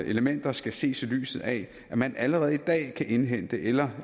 elementer skal ses i lyset af at man allerede i dag kan indhente eller